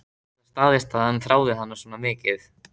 Gat það staðist að hann þráði hana svona mikið?